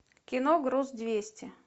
кино груз двести